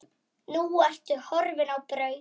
Nú ertu horfin á braut.